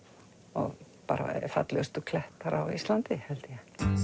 og bara fallegustu klettar á Íslandi held ég